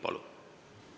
Palun!